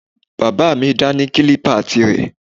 Bàbá mi dá ní kílípà tirẹ̀